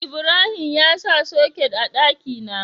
Ibrahim ya sa soket a daki na